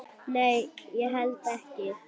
Nei, held ekki.